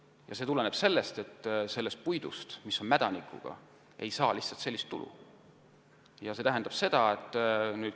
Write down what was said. Ja see tuleneb sellest, et mädanikuga puidu eest lihtsalt ei saa nii suurt tulu.